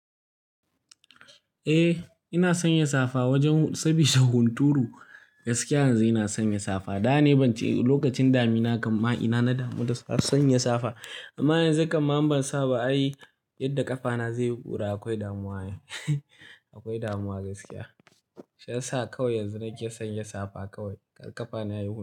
Eh ina sanya safa wajen saboda hunturu gaskiya yanzu ina sanya safa. Da na yi ban ji lokacin damina amma ina na damu da sanya safa. Amma yanzu kaman ban saba ayi yadda ƙafana zai yi ƙura akwai damuwa akwai damuwa gaskiya. Shi yasa kawai yanzu nake sanya safa kawai ƙafana yayi ƙura.